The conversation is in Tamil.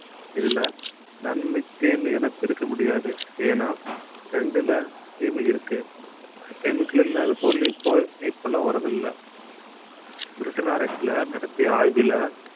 இதுல நன்மை தீமை என பிரிக்க முடியாது ஏன்னா ரெண்டுல தீமை இருக்கு chemical இல்லாத பொருள் இப்போ இப்பெல்லாம் வர்றது இல்ல பிரிட்டன் ஆராய்ச்சியில நடத்திய ஆய்விலே